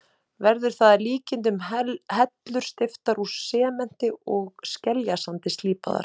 Verður það að líkindum hellur steyptar úr sementi og skeljasandi, slípaðar.